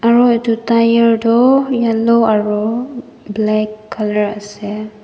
aro edu tyre toh yellow aro black colour ase.